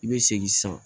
I bɛ segin sisan